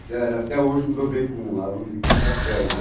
Mas até hoje me dou bem com alunos de quinta série. Quer dizer,